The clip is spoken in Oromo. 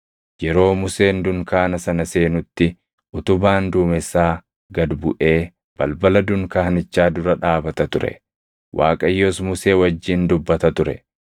Yeroo Museen dunkaana sana seenutti utubaan duumessaa gad buʼee balbala dunkaanichaa dura dhaabata ture; Waaqayyos Musee wajjin dubbata ture.